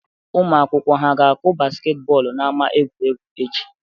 Ụmụ akwụkwọ ha ga-akụ basket bọọlụ n'ama egwuregwu echi?